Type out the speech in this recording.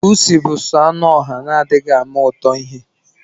Pusi bu soo anụ oha na adiighi ama ụtọ ihe.